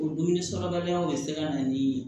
O dumuni sɔrɔbaliyaw bɛ se ka na ni